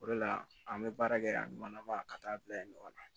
O de la an bɛ baara kɛ a mana taa bila yen ɲɔgɔn na